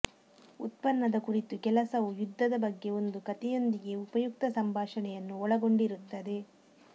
ಉತ್ಪನ್ನದ ಕುರಿತು ಕೆಲಸವು ಯುದ್ಧದ ಬಗ್ಗೆ ಒಂದು ಕಥೆಯೊಂದಿಗೆ ಉಪಯುಕ್ತ ಸಂಭಾಷಣೆಯನ್ನು ಒಳಗೊಂಡಿರುತ್ತದೆ